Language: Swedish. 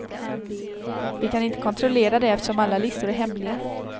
Vi kan inte kontrollera det eftersom alla listor är hemliga.